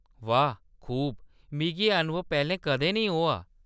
वाह खूब। मिगी एह्‌‌ अनुभव पैह्‌‌‌लें कदें नेईं होआ ।